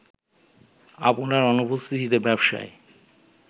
আপনার অনুপস্থিতিতে ব্যবসায়ে